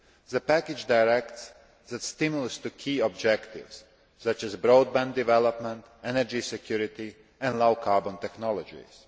The package directs that stimulus to key objectives, such as broadband development, energy security and low carbon technologies.